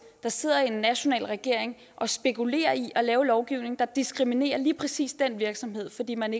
der sidder en national regering og spekulerer i at lave lovgivning der diskriminerer lige præcis den virksomhed fordi man